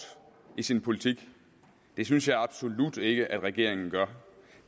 i sin politik det synes jeg absolut ikke at regeringen gør